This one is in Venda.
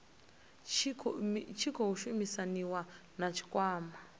tshi khou shumisaniwa na tshikwama